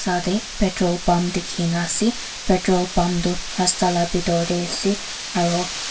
deh pertol pump dikhina asey petrol pump du rasta la bitor deh asey aro--